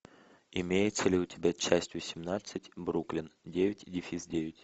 имеется ли у тебя часть восемнадцать бруклин девять дефис девять